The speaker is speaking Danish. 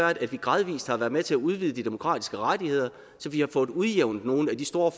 er at vi gradvis har været med til at udvide de demokratiske rettigheder så vi har fået udjævnet nogle af de store